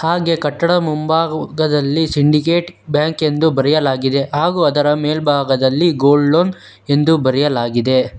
ಹಾಗೆ ಕಟ್ಟಡ ಮುಂಭಾಗ ಉಗ್ಗದಲ್ಲಿ ಸಿಂಡಿಕೇಟ್ ಬ್ಯಾಂಕ್ ಎಂದು ಬರೆಯಲಾಗಿದೆ ಹಾಗು ಅದರ ಮೆಲ್ಬಾಗದಲ್ಲಿ ಗೋಲ್ಡ್ ಲೋನ್ ಎಂದು ಬರೆಯಲಾಗಿದೆ.